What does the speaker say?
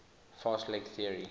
fast leg theory